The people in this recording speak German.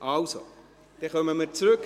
– Also, dann kommen wir zurück.